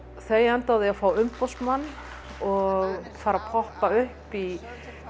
þau enda á því að fá umboðsmann og fara að poppa upp í